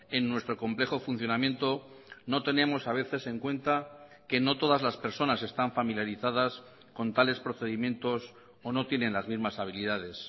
en nuestro complejo funcionamiento no tenemos a veces en cuenta que no todas las personas están familiarizadas con tales procedimientos o no tienen las mismas habilidades